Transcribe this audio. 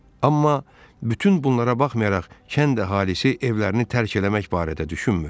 Amma bütün bunlara baxmayaraq, kənd əhalisi evlərini tərk eləmək barədə düşünmür.